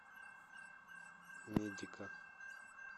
медика